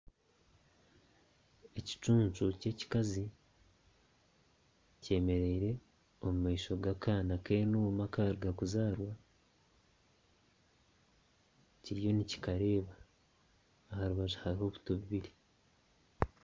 Ekicuncu ky'ekikazi kyemiriire omu maisho g'akaana k'enuuma akaruga kuzaarwa kiriyo nikikareeba aha rubaju hariho obuto bubiri